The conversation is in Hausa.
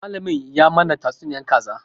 Malamin ya mana tatsuniyar kaza